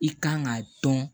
I kan ka dɔn